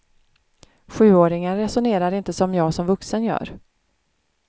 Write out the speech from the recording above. Sjuåringen resonerar inte som jag som vuxen gör.